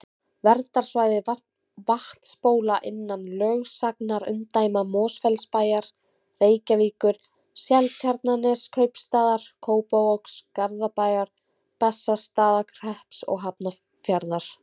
Verndarsvæði vatnsbóla innan lögsagnarumdæma Mosfellsbæjar, Reykjavíkur, Seltjarnarneskaupstaðar, Kópavogs, Garðabæjar, Bessastaðahrepps og Hafnarfjarðar.